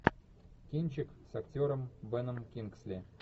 кинчик с актером беном кингсли